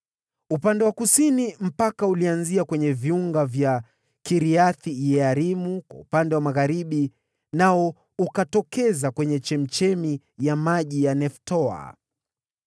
Upande wa kusini mpaka ulianzia kwenye viunga vya Kiriath-Yearimu kwa upande wa magharibi, nao ukatokeza kwenye chemchemi ya maji ya Neftoa.